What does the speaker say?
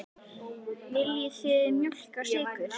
Viljið þið mjólk og sykur?